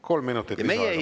Kolm minutit lisaaega, palun!